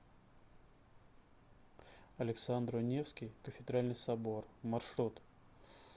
александро невский кафедральный собор маршрут